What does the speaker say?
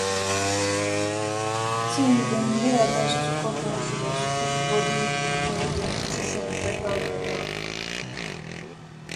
teen dem dey advised to cut down sugar to keep body healthy and nutrition better better